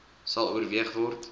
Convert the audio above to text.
sal oorweeg word